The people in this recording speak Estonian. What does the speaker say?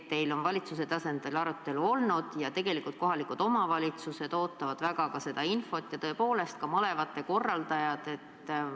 Teil on valitsuse tasemel arutelu olnud ja tegelikult kohalikud omavalitsused ootavad väga seda infot ja muidugi ka malevate korraldajad.